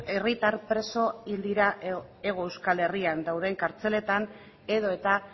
herritar preso hil dira hego euskal herrian dauden kartzeletan edota